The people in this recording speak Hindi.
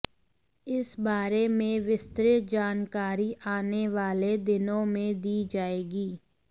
इस बारे में विस्तृत जानकारी आने वाले दिनों में दी जाएगी